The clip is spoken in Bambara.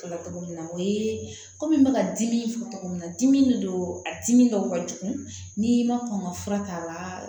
Togo min na o ye kɔmi n bɛ ka dimi fɔ togo min na dimi de don a dimi dɔw ka jugu ni ma kɔn ka fura k'a la